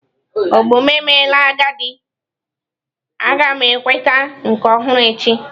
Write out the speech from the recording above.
Ogbo m emela agadi, a ga m enweta nke ọhụrụ echi.